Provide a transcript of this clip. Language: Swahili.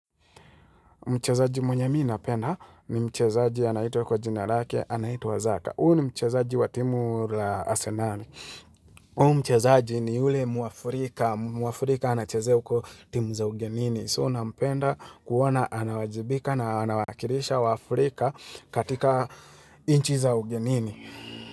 Mchezaji mwenye mii napenda ni mchezaji anaitumwa kwa jinarake, anaituwa zaka. Huo ni mchezaji wa timu la asenari. Huo mchezaji ni ule muafrika. Muafrika anachezea uko timu za ugenini. So, nampenda kuona, anawajibika na anawakirisha wa Afrika katika inchi za ugenini.